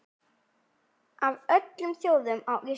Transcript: Af öllum þjóðum, á Íslandi?